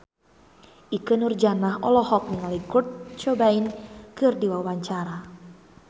Ikke Nurjanah olohok ningali Kurt Cobain keur diwawancara